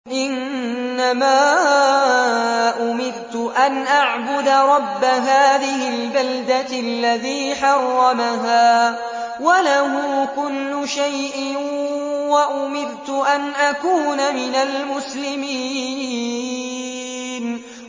إِنَّمَا أُمِرْتُ أَنْ أَعْبُدَ رَبَّ هَٰذِهِ الْبَلْدَةِ الَّذِي حَرَّمَهَا وَلَهُ كُلُّ شَيْءٍ ۖ وَأُمِرْتُ أَنْ أَكُونَ مِنَ الْمُسْلِمِينَ